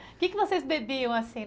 O que vocês bebiam assim?